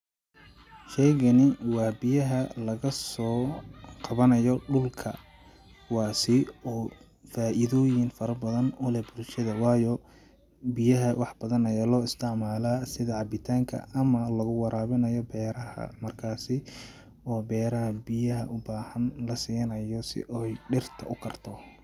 Sheygani waa biyaha lagasoo qawanayo dhulka kuwaasi oo faaidoyin fara badan uleh bulshada waayo biyaha wax badan ayaa loo isticmalaa sida cabitanka ama lagu warabinayo beeraha ,markasi oo beeraha biyaha u bahan lasiinayo si ooy dhirta ukarto.